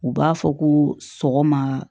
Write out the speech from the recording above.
U b'a fɔ ko sɔgɔma